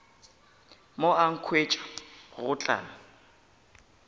mo a nkhwetša go tla